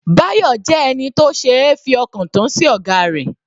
Bayo jẹ́ ẹni tó ṣeé fi ọkàn tán sí ọ̀gá rẹ̀.